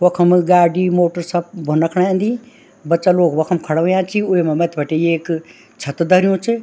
वखम गाडी मोटर सब भोन्ना खण एंदी बच्चा लोग वखम खड़ा हुयां छिं वेमा मत्थी बटे एक छत धरयुं च।